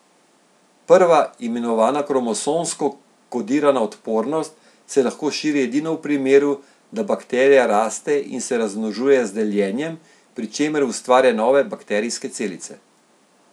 Prva, imenovana kromosomsko kodirana odpornost, se lahko širi edino v primeru, da bakterija raste in se razmnožuje z deljenjem, pri čemer ustvarja nove bakterijske celice.